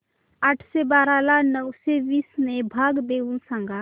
आठशे बारा ला नऊशे वीस ने भाग देऊन सांग